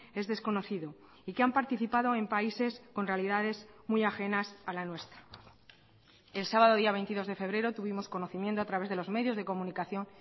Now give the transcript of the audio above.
es desconocido y que han participado en países con realidades muy ajenas a la nuestra el sábado día veintidós de febrero tuvimos conocimiento a través de los medios de comunicación